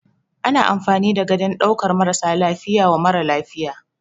Ana amfani da gadon ɗaukan marasa lafiya wa mara lafiya.